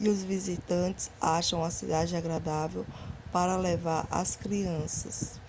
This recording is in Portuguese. e os visitantes acham a cidade agradável para levar as crianças